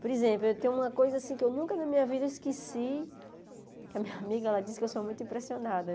Por exemplo, tem uma coisa que eu nunca na minha vida esqueci, que a minha amiga diz que eu sou muito impressionada.